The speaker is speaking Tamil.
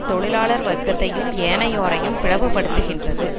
தொழிலாளர் வர்க்கத்தையும் ஏனையோரையும் பிளவு படுத்துகின்றது